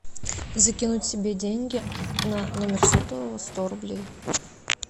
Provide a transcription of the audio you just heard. закинуть себе деньги на номер сотового сто рублей